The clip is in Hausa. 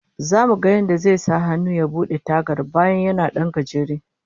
Zamu ga yadda zai sahannu ya bude tagar, bayan yana dan gajere